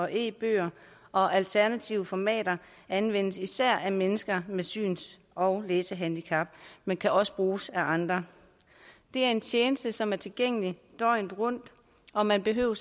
eller e bøger og alternative formater anvendes især af mennesker med syns og læsehandicap men kan også bruges af andre det er en tjeneste som er tilgængelig døgnet rundt og man behøver